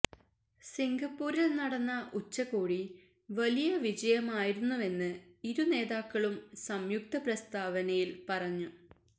സിംഗപ്പൂരില് നടന്ന ഉച്ചകോടി വലിയ വിജയമായിരുന്നുവെന്ന് ഇരു നേതാക്കളും സംയുക്ത പ്രസ്താവനയില് പറഞ്ഞു